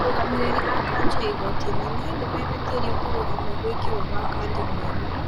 Arũgamĩrĩri a kanjo ya igooti inene nĩmehĩtire kũrũgamia gũĩkĩrwo gwa Khadi mweru